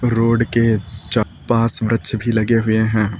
Road के चा पास वृक्ष भी लगे हुए हैं।